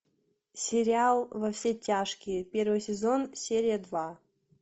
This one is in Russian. сериал во все тяжкие первый сезон серия два